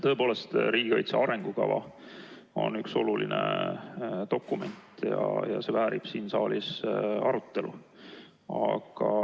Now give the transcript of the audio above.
Tõepoolest, riigikaitse arengukava on üks oluline dokument ja väärib siin saalis arutelu.